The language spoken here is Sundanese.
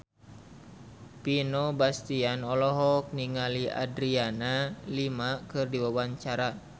Vino Bastian olohok ningali Adriana Lima keur diwawancara